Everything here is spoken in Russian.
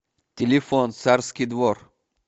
телефон царский двор